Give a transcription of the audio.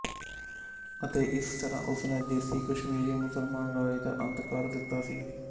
ਅਤੇ ਇਸ ਤਰ੍ਹਾਂ ਉਸਨੇ ਦੇਸੀ ਕਸ਼ਮੀਰੀ ਮੁਸਲਮਾਨ ਰਾਜ ਦਾ ਅੰਤ ਕਰ ਦਿੱਤਾ ਸੀ